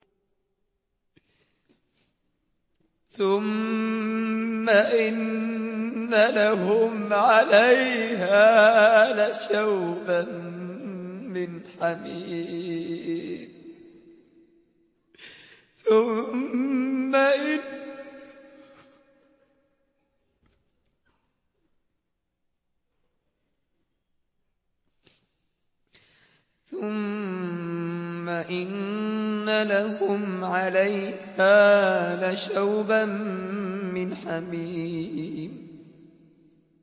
ثُمَّ إِنَّ لَهُمْ عَلَيْهَا لَشَوْبًا مِّنْ حَمِيمٍ